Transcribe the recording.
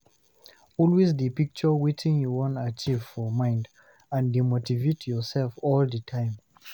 always de picture wetin you won achieve for mind and de motivate yourself all the time